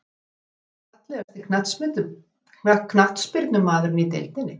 Pass Fallegasti knattspyrnumaðurinn í deildinni?